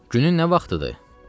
Günün nə vaxtıdır?